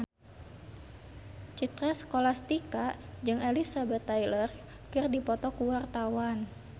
Citra Scholastika jeung Elizabeth Taylor keur dipoto ku wartawan